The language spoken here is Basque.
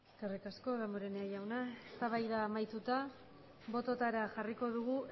eskerrik asko damborenea jauna eztabaida amaituta bototara jarriko dugu